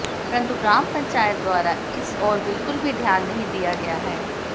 परंतु ग्राम पंचायत द्वारा इस ओर बिल्कुल भी ध्यान नहीं दिया गया है